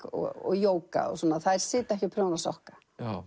og jóga og svona þær sitja ekki og prjóna sokka